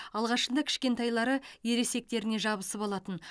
алғашында кішкентайлары ересектеріне жабысып алатын